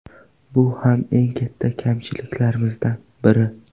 Bu ham eng katta kamchiliklarimizdan biri.